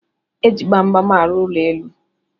Eji gbamgbam arụ elu ụlọ